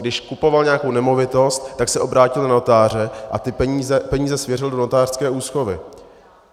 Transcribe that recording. Když kupoval nějakou nemovitost, tak se obrátil na notáře a ty peníze svěřil do notářské úschovy.